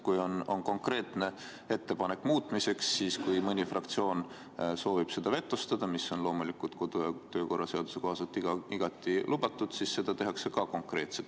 Kui on konkreetne ettepanek muutmiseks ja kui mõni fraktsioon soovib seda vetostada, mis on loomulikult kodu‑ ja töökorra seaduse kohaselt igati lubatud, siis seda tehakse ka konkreetselt.